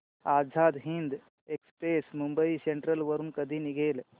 Azad Hind express Mumbai central वरून कधी निघेल